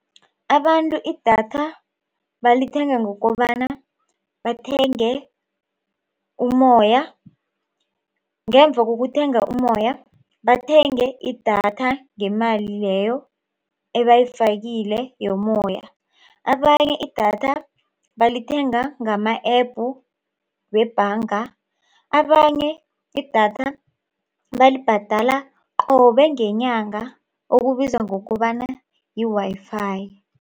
Abantu idatha balithenga ngokobana bathenge ummoya, ngemva kokuthenga ummoya bathenge idatha ngemali leyo ebayifakile yommoya. Abanye idatha balithenga ngama-App webhanga. Abanye idatha balibhadala qobe ngenyanga okubizwa ngokobana yi-Wi-Fi.